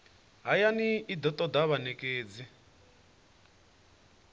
hayani i do toda vhanekedzi